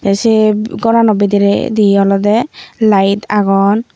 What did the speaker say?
sei gorano bidiredi olodey light agon.